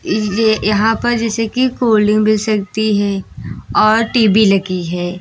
ये यहां पर जैसे कि कोल्ड डिंक मिल सकती है और टी_वी लगी है।